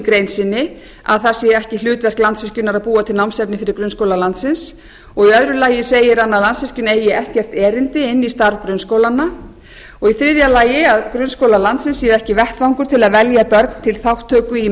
grein sinni að það sé ekki hlutverk landsvirkjunar að búa til námsefni fyrir grunnskóla landsins og í öðru lagi segir hann að landsvirkjun eigi ekkert erindi inn í starf grunnskólanna og í þriðja lagi að grunnskólar landsins séu ekki vettvangur til a velja börn til þátttöku í